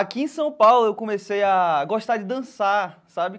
Aqui em São Paulo, eu comecei a gostar de dançar, sabe?